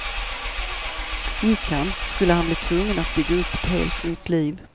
Gick han, skulle han bli tvungen att bygga upp ett helt nytt liv.